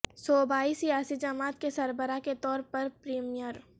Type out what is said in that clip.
صوبائی سیاسی جماعت کے سربراہ کے طور پر پریمیئر